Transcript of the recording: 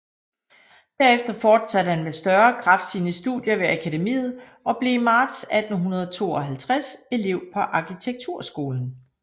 Derefter fortsatte han med større kraft sine studier ved Akademiet og blev i marts 1852 elev på arkitekturskolen